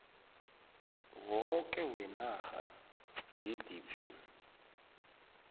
woke wenarha gdp